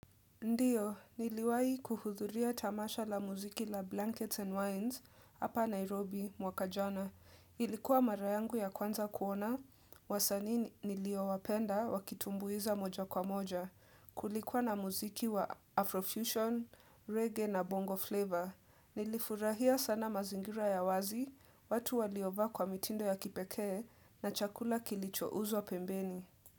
Ndio, niliwahi kuhudhuria tamasha la muziki la Blankets and Wines hapa Nairobi, mwaka jana. Ilikuwa mara yangu ya kwanza kuona, wasanii niliowapenda wakitumbuiza moja kwa moja. Kulikuwa na muziki wa Afrofusion, reggae na bongo flavor. Nilifurahia sana mazingira ya wazi, watu waliovaa kwa mitindo ya kipekee na chakula kilichouzwa pembeni.